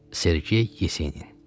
Sergey Yesenin.